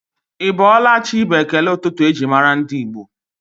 Ị bọọla chi bụ ekele ụtụtụ eji mara ndị Igbo